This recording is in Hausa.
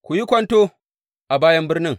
Ku yi kwanto a bayan birnin.